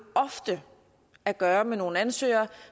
ofte at gøre med nogle ansøgere